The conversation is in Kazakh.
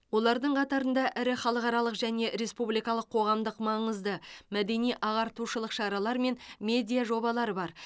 олардың қатарында ірі халықаралық және республикалық қоғамдық маңызды мәдени ағартушылық шаралар мен медиа жобалар бар